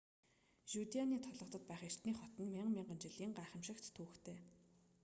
жюдеаны толгодод байх эртний хот нь мянга мянган жилийн гайхамшигт түүхтэй